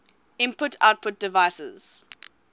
input output devices